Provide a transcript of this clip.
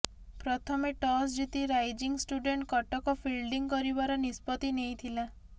ପ୍ରଥମେ ଟସ୍ଜିତି rising student Cuttack fielding କରିବାର ନିଷ୍ପତି ନେଇଥିଲା